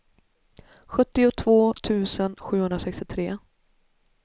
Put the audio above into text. sjuttiotvå tusen sjuhundrasextiotre